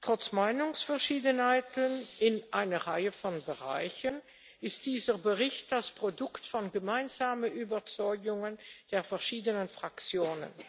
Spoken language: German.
Trotz Meinungsverschiedenheiten in einer Reihe von Bereichen ist dieser Bericht das Produkt von gemeinsamen Überzeugungen der verschiedenen Fraktionen.